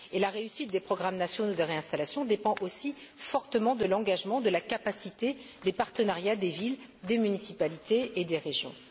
La réussite des programmes nationaux de réinstallation dépend aussi fortement de l'engagement, de la capacité et des partenariats des villes, des municipalités et des régions.